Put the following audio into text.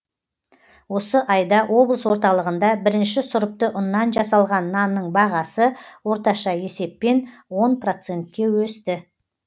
осы айда облыс орталығында бірінші сұрыпты ұннан жасалған нанның бағасы орташа есеппен он процентке өсті